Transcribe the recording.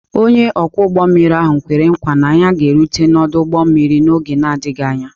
Onye ọkwọ ụgbọ mmiri ahụ kwere nkwa na ya ga-erute n'ọdụ ụgbọ mmiri n'oge na-adịghị anya.